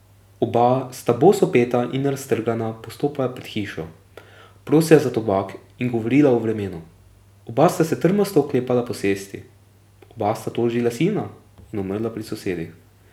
Oba sta bosopeta in raztrgana postopala pred hišo, prosila za tobak in govorila o vremenu, oba sta se trmasto oklepala posesti, oba sta tožila sina in umrla pri sosedih ...